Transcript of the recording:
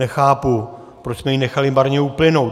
Nechápu, proč jsme ji nechali marně uplynout.